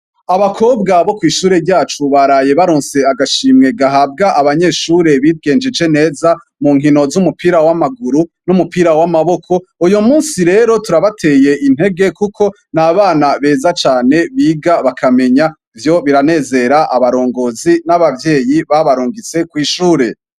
Abakobwa bo kwishure ryacu baraye baronse agashimwe gahabwa abanyeshure bigenjeje neza munkino zumupira wamaguru n'umupira wamaboko uyu munsi rero turabateye intege kuko nabana beza cane biga bakamenya ivyo biranezera abarongozi n'ababvyeyi babarungitse kwishure.